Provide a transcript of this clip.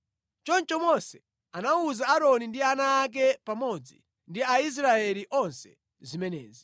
Choncho Mose anawuza Aaroni ndi ana ake pamodzi ndi Aisraeli onse zimenezi.